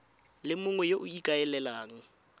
le mongwe yo o ikaelelang